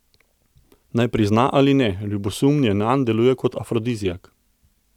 Naj prizna ali ne, ljubosumje nanj deluje kot afrodiziak.